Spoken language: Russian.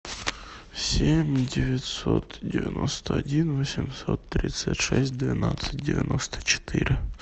семь девятьсот девяносто один восемьсот тридцать шесть двенадцать девяносто четыре